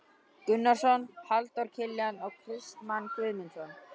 Gunnarsson, Halldór Kiljan og Kristmann Guðmundsson.